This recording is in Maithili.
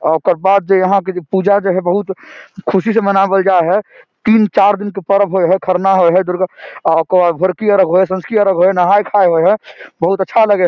ओकर बाद जे आहां के जे पूजा हेय बहुत खुशी से मनवल जाए हेय तीन-चार दिन के पर्व हेय है खरना हेय है दुर्गा ओकर बाद भोड़की अर्घ होय है संझकी अर्घ होय है नहाय खाय होय है बहुत अच्छा लगे हेय।